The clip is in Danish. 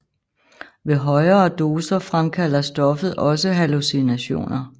Ved højere doser fremkalder stoffet også hallucinationer